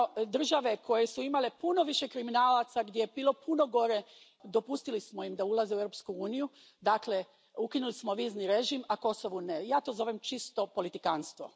Države koje su imale puno više kriminalaca, gdje je bilo puno gore, dopustili smo im da ulaze u Europsku uniju, dakle, ukinuli smo im vizni režim, a Kosovu ne. Ja to zovem čisto politikanstvo.